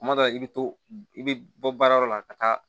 Kuma dɔ la i bɛ to i bɛ bɔ baarayɔrɔ la ka taa